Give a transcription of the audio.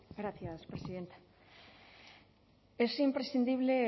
gracias presidenta es imprescindible